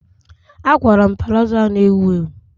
A kwara m palazo a na-ewu ewu.